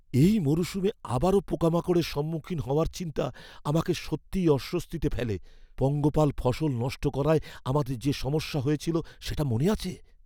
এই মরশুমে আবারও পোকামাকড়ের সম্মুখীন হওয়ার চিন্তা আমাকে সত্যিই অস্বস্তিতে ফেলে। পঙ্গপাল ফসল নষ্ট করায় আমাদের যে সমস্যা হয়েছিল সেটা মনে আছে?